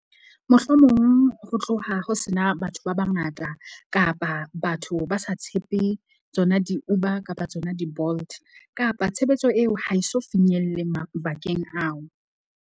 Mohlomong ho tloha ho sena batho ba bangata kapa batho ba sa tshepe, tsona di-Uber kapa tsona di-Bolt. Kapa tshebetso eo ha e so finyelle mabakeng ao.